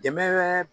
Dɛmɛ